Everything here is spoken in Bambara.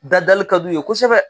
Da dali ka d'u ye kosɛbɛ.